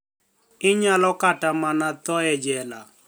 Iniyalo kata mania tho e jela.